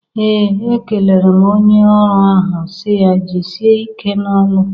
Ee! Ekelere m onye ọrụ ahụ si ya "Jisie ike n'ọlụ!"